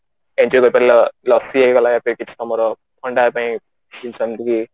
enjoy କରିପାରିଲ ଲସି ହେଇଗଲା କିଛି ତମର ଥଣ୍ଡା ପାଇଁ